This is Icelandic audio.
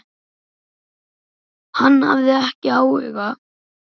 Hann hafði ekki áhuga.